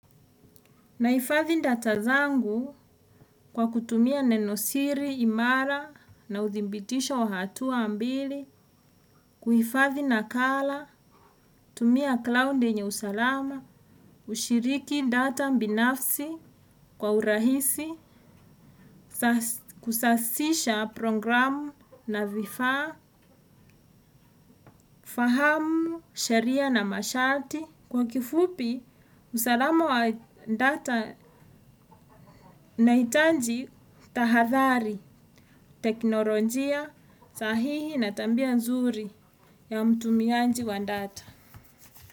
Naifathi data zangu kwa kutumia nenosiri, imara na udibitisho wahatuwa ambili, kuhifathi na kala, tumia cloud enye usalama, ushiriki data mbinafsi kwa urahisi, kusasisha programu na vifa, fahamu, sheria na masharti. Kwa kifupi, usalama wa data na itanji tahadhali, teknolojia, sahihi na tambia nzuri ya mtumianji wa data.